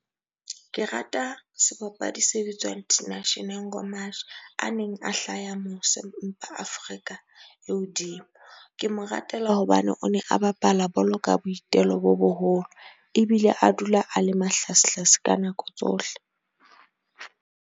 Ke rata sebapadi se bitswang Tinashe a neng a hlaha mose empa Afrika e hodimo. Ke mo ratela hobane o ne a bapala bolo ka boitelo bo boholo ebile a dula a le mahlasehlase ka nako tsohle.